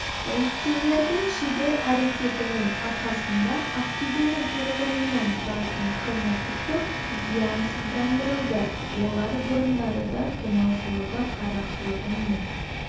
полицейлердің шебер әрекетінің арқасында ақтөбенің тұрғынынан тұратын қылмыстық топ зиянсыздандырылды олар бұрындары да тонаушылығы қарақшылығы мен